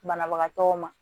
Banabagatɔw ma